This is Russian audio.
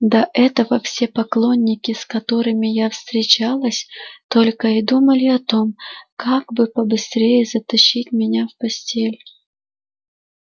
до этого все поклонники с которыми я встречалась только и думали о том как бы побыстрее затащить меня в постель